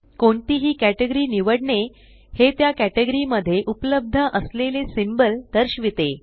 कोणतीही कॅटेगरी निवडने हे त्या कॅटेगरी मध्ये उपलब्ध असलेले सिंबल दर्शविते